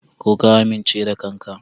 Ko ka amince da kanka?